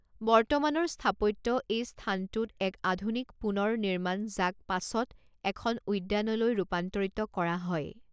বৰ্তমানৰ স্থাপত্য এই স্থানটোত এক আধুনিক পুনৰ্নিমান যাক পাছত এখন উদ্যানলৈ ৰূপান্তৰিত কৰা হয়।